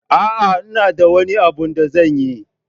A'a, ina da wani abu da zanyi.